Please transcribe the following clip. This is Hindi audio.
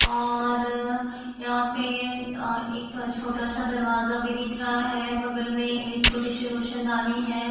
और यहाँ पे अ एक छोटा-सा दरवाजा भी दिख रहा है। बगल में छोटी-सी रोशनदानी है।